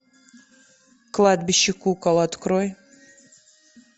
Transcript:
кладбище кукол открой